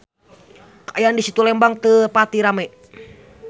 Kaayaan di Situ Lembang teu pati rame